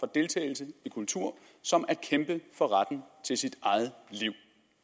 deltagelse i kultur som at kæmpe for retten til sit eget liv